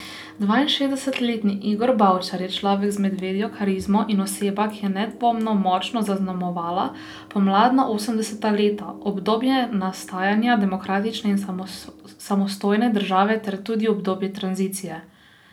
Dvainšestdesetletni Igor Bavčar je človek z medvedjo karizmo in oseba, ki je nedvomno močno zaznamovala pomladna osemdeseta leta, obdobje nastajanja demokratične in samostojne države ter tudi obdobje tranzicije.